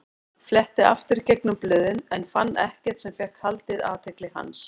Fletti aftur í gegnum blöðin en fann ekkert sem fékk haldið athygli hans.